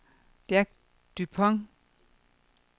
Jack Dupont